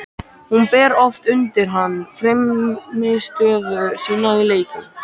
Hún ber oft undir hann frammistöðu sína í leikjum.